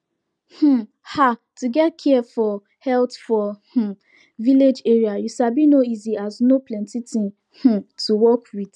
um ah to get care for health for um village area you sabi no easy as no plenti thing um to work with